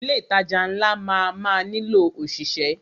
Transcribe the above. Ilé ìtajà ńlá máa má nílò ọ̀ṣìṣẹ́.